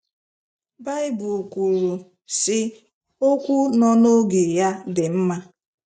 Baịbụl kwuru, sị: “Okwu no n'oge ya dị mma.